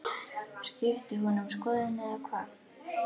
Skipti hún um skoðun eða hvað?